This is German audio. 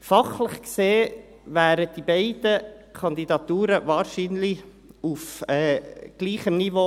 Fachlich gesehen wären die beiden Kandidaturen wahrscheinlich auf gleichem Niveau.